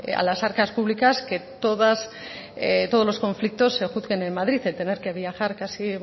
a las arcas públicas que todos los conflictos se juzguen en madrid el tener que viajar casi